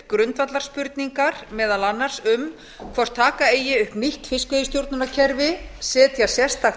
grundvallarspurningar meðal annars um hvort taka eigi upp nýtt fiskveiðistjórnarkerfi setja sérstakt